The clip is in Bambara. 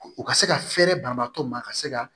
U ka se ka fɛɛrɛ banabaatɔ ma ka se ka